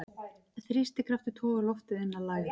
Þrýstikraftur togar loftið inn að lægð.